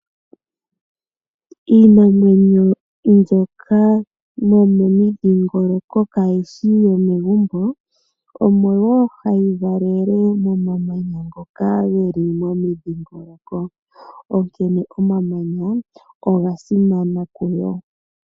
Iinamwenyo mbyoka yomomidhingoloko kayishi yomegumbo, omo wo hayi valele momamanya ngoka geli momidhingoloko, onkene omamanya oga simana kuyo.